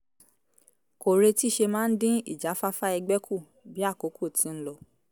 kò retí ṣe máa ń dín ìjáfáfá ẹgbẹ́ kù bí àkókò ti ń lọ